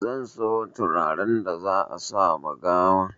Zan siyo turaren da za a sama gawan